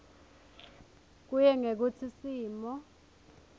kuye ngekutsi simo